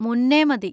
മുന്നെ മതി.